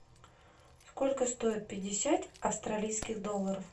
сколько стоит пятьдесят австралийских долларов